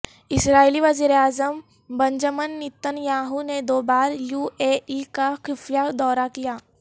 اسرائیلی وزیراعظم Benjamin Netanyahu نے دو بار یو اے ای کا خفیہ دورہ کیا